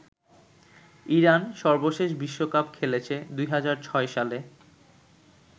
Iran সর্বশেষ বিশ্বকাপ খেলেছে ২০০৬ সালে।